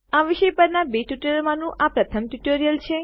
આ વિષય પરના બે ટ્યુટોરીયલોમાંનું આ પ્રથમ ટ્યુટોરીયલ છે